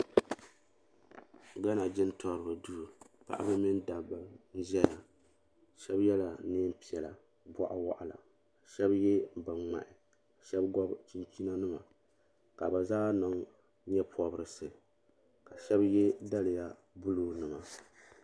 Gana jintoriba duu paɣaba mini dabba n zaya sheba yela niɛn piɛla boɣuwaɣala sheba ye binŋmahi ka sheba gobi chinchina nima ka bɛ zaa niŋ nye'pobrisi ka sheba ye daliya buluu nima.